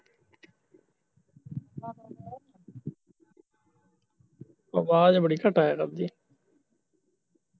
ਅਵਾਜ ਬੜੀ ਘੱਟ ਆਇਆ ਕਰਦੀ